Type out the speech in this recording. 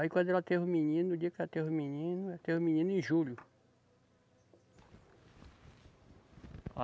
Aí quando ela teve o menino, no dia que ela teve o menino, ela teve o menino em julho.